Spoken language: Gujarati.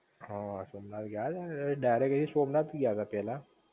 હ સોમનાથ ગયા તા ને ડાઇરેકટલી સોમનાથ ગયા તા પેલા